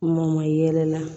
Mɔn mayɛlɛ la